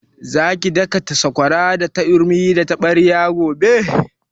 Za ki daka sakwara da turmi da taɓarya gobe?